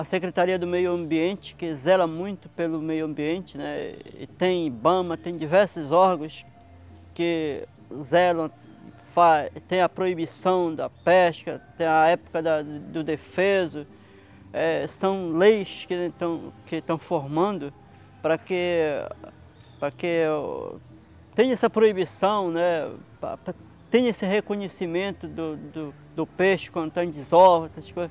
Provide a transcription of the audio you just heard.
A Secretaria do Meio Ambiente, que zela muito pelo meio ambiente né, tem Ibama, tem diversos órgãos que zelam, fa tem a proibição da pesca, tem a época da do defeso, eh são leis que estão que estão formando para que para que o tenha essa proibição né, tenha esse reconhecimento do do do peixe quando está em devosa, essas coisas.